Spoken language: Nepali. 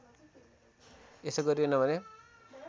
यसो गरिएन भने